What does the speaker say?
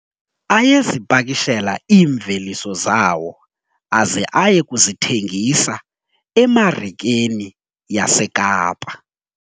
Ayezipakishela iimveliso zawo aze aye kuzithengisa emarikeni yaseKapa.